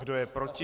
Kdo je proti?